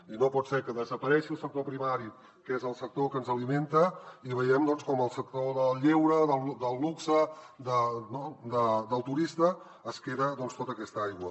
i no pot ser que desaparegui el sector primari que és el sector que ens alimenta i vegem com el sector del lleure del luxe del turista es queda tota aquesta aigua